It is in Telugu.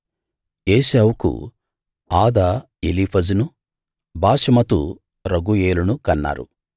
ఏశావుకు ఆదా ఎలీఫజును బాశెమతు రగూయేలును కన్నారు